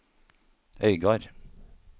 Øygard